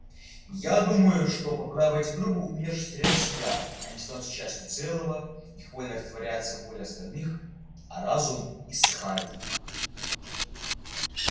я думаю что попадая в эти трубы умершие теряют себя они становятся частью целого их воля растворяется в воле остальных а разум иссыхает